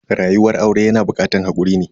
Rayuwar aure yana bukatar hakuri ne.